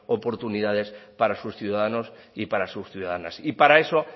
oportunidades para sus ciudadanos y para sus ciudadanas y para eso